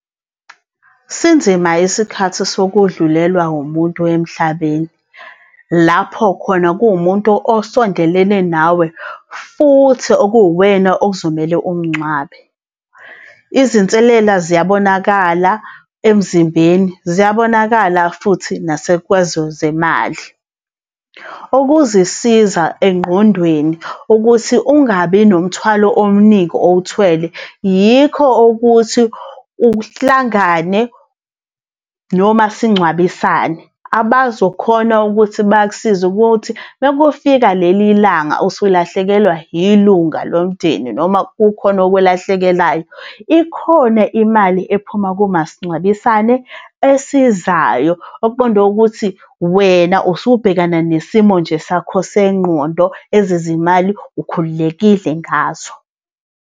Sinzima isikhathi sokudlulelwa umuntu emhlabeni, lapho khona kuwumuntu osondelene nawe, futhi okuwuwena okuzomele umngcwabe. Izinselela ziyabonakala emzimbeni, ziyabonakala futhi . Ukuzisiza engqondweni ukuthi ungabi nomthwalo omningi owuthwele yikho ukuthi uhlangane nomasingcwabisane, abazokhona ukuthi bakusize ukuthi makufika leli langa usulahlekelwa ilunga lomndeni noma kukhona okulahlekelayo, ikhona imali ephuma kumasingcwabisane esizayo, okuqonde ukuthi wena usubhekana nesimo nje sakho sengqondo ezezimali ukhululekile ngazo.